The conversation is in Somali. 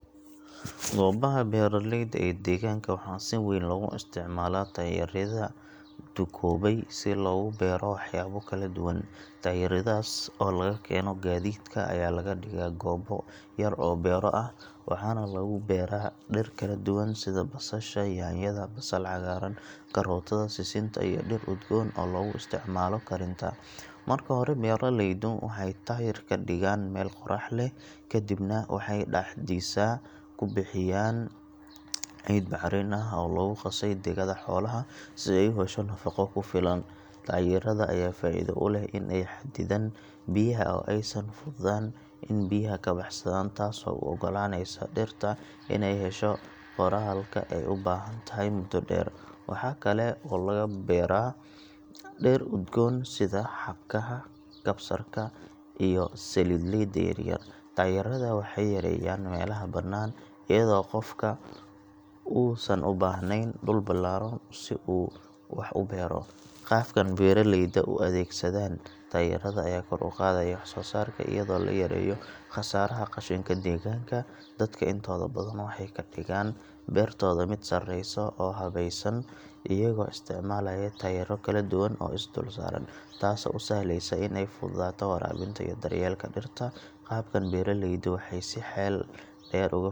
Goobaha beeraleyda ee deegaanka waxaa si weyn loogu isticmaalaa taayirada duugoobay si loogu beero waxyaabo kala duwan. Taayiradaas oo laga keeno gaadiidka ayaa laga dhigaa goob yar oo beero ah, waxaana lagu beeraa dhir kala duwan sida basasha, yaanyada, basal cagaaran, karootada, sisinta iyo dhir udgoon oo lagu isticmaalo karinta. Marka hore beeraleydu waxay taayirka dhigaan meel qorrax leh, kadibna waxay dhexdiisa ku buuxiyaan ciid bacrin ah oo lagu qasay digada xoolaha si ay u hesho nafaqo ku filan. Taayirada ayaa faa’iido u leh in ay xaddidaan biyaha oo aysan fududaan in biyaha ka baxsadaan, taasoo u oggolaanaysa dhirta inay hesho qoyaanka ay u baahan tahay muddo dheer. Waxaa kale oo lagu beeraa dhir udgoon sida xabkaha, kabsarka iyo saliidleyda yaryar. Taayirrada waxay yareeyaan meelaha bannaan iyadoo qofku uusan u baahnayn dhul ballaaran si uu wax u beero. Qaabkan beeralayda u adeegsadaan taayirada ayaa kor u qaadaya waxsoosaarka iyadoo la yareeyo khasaaraha qashinka deegaanka. Dadka intooda badan waxay ka dhigaan beertooda mid sareysa oo habaysan iyagoo isticmaalaya taayiro kala duwan oo is dul saaran, taasoo u sahlaysa in ay fududaato waraabinta iyo daryeelka dhirta. Qaabkan beeraleydu waxay si xeel dheer uga.